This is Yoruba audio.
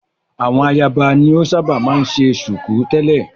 Àwọn ayaba ni o ṣábà máa ń ṣe ṣùkú tẹ̀lẹ́.